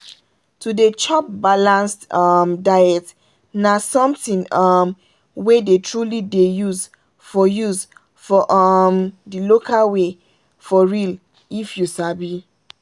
to dey chop balanced um diet na something um wey dey truly dey use for use for um the local way for real if you sabi.